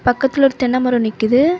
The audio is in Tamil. பக்கத்துல ஒரு தென்னை மரம் நிக்குது.